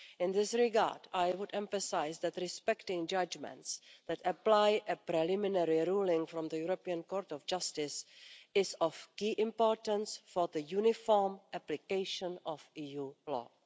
In this regard, I would emphasise that respecting judgments that apply a preliminary ruling from the Court of Justice is of key importance for the uniform application of EU law.